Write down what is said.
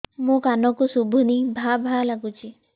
ମୋ କାନକୁ ଶୁଭୁନି ଭା ଭା ଲାଗୁଚି